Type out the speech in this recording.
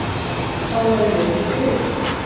Þá væri ég ekki til?